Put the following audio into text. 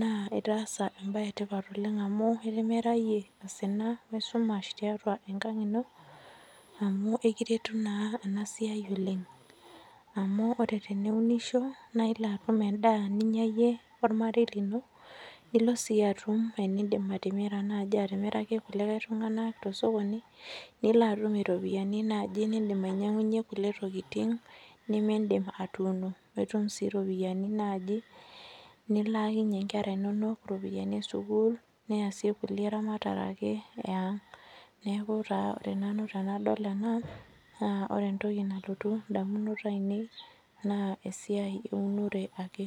naa itaasa ebae etipat oleng amu itimirayie osina esumash tiatua enkang ino, amu ekiretu naa enasiai oleng. Amu ore teniunisho, na ilo atum endaa ninya iyie ormarei lino, nilo si atum enidim atimira naji atimiraki kulikae tung'ani tosokoni, nilo atum iropiyiani naji nidim ainyang'unye kulie tokiting, nimiidim atuuno. Nitum si ropiyiani naji nilaakinye inkera inonok iropiyiani esukuul, niasie kulie eramatare ake eang'. Neeku taa ore nanu tenadol ena, naa ore entoki nalotu indamunot ainei, naa esiai eunore ake.